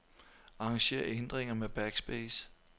Arranger ændringer med backspace.